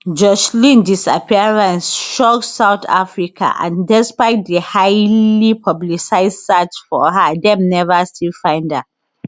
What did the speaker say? joshlin disappearance shock south africa and despite di highly publicised search for her dem never still find her